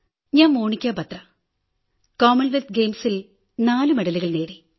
ഞാൻ മണികാ ബത്ര കോമൺവെൽത്ത് ഗെയിംസിൽ നാലു മെഡലുകൾ നേടി